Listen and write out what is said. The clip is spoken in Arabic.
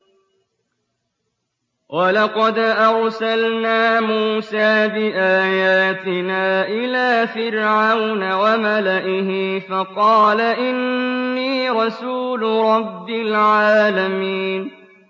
وَلَقَدْ أَرْسَلْنَا مُوسَىٰ بِآيَاتِنَا إِلَىٰ فِرْعَوْنَ وَمَلَئِهِ فَقَالَ إِنِّي رَسُولُ رَبِّ الْعَالَمِينَ